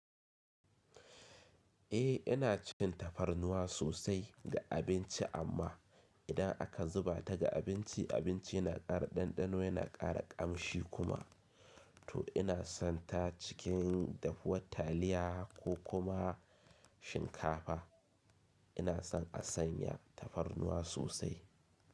Eh ina cin tafarnuwa sosai ga abinci amma idan aka zuba ta ga abinci, abinci yana ƙara ɗanɗano yana ƙara ƙamshi kuma. To ina son ta cikin dafuwar taliya ko kuma shinkafa. Ina son a sanya tafarnuwa sosai.